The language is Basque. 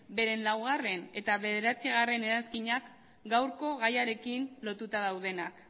beren laugarrena eta bederatzigarrena eranskinak gaurko gaiarekin lotuta daudenak